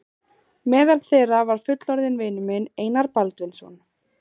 Meðal þeirra var fullorðinn vinur minn, Einar Baldvinsson.